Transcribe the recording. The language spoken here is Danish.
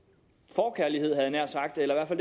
forkærlighed havde jeg nær sagt eller i